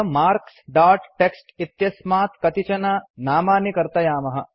अथ marks dot TXT इत्यस्मात् कतिचन नामानि कर्तयामः